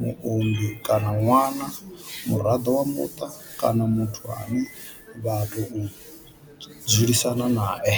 muunḓi kana ṅwana, muraḓo wa muṱa kana muthu ane vha tou dzulisana nae.